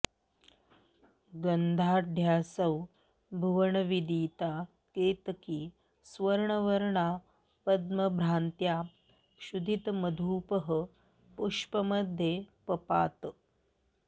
गन्धाढ्यासौ भुवनविदिता केतकी स्वर्णवर्णा पद्मभ्रान्त्या क्षुधितमधुपः पुष्यमध्ये पपात